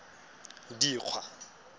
dikgwa